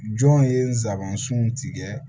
Jɔn ye nsabansun tigɛ